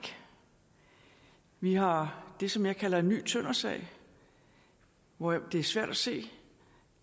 vi har det som jeg kalder en ny tøndersag hvor det er svært at se